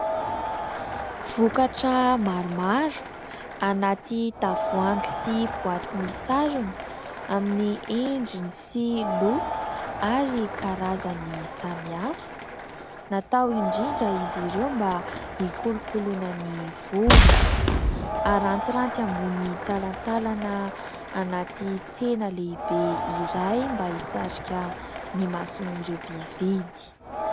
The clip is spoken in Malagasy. Vokatra maromaro, anaty tavoahangy sy boaty misarona amin'ny endriny sy loko ary karazany samy hafa. Natao indrindra izy ireo mba hikolokoloana ny volo. Harantiranty ambony talantalana anaty tsena lehibe iray, mba hisarika ny mason'ireo mpividy.